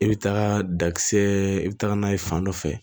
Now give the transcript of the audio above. I bɛ taga dakisɛ i bɛ taga n'a ye fan dɔ fɛ